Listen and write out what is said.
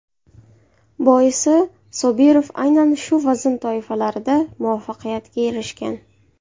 Boisi Sobirov aynan shu vazn toifalarida muvaffaqiyatga erishgan.